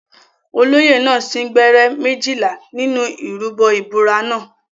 Olóyè náà sín gbẹ́rẹ́ méjìlá nínú ìrúbọ ìbúra náà.